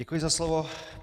Děkuji za slovo.